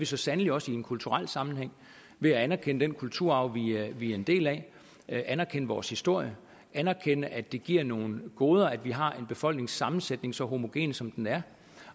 så sandelig også i en kulturel sammenhæng ved at anerkende den kulturarv vi er en del af anerkende vores historie anerkende at det giver nogle goder at vi har en befolkningssammensætning så homogen som den er